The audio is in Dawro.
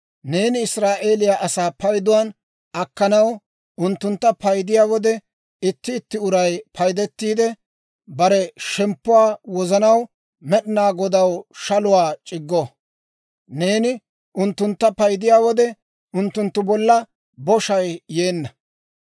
«Neeni Israa'eeliyaa asaa payduwaan akkanaw unttuntta paydiyaa wode, itti itti uray paydettiide, bare shemppuwaa wozanaw Med'inaa Godaw shaluwaa c'iggo. Neeni unttuntta paydiyaa wode, unttunttu bolla boshay yeenna.